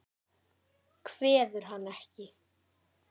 Kveður hann ekki.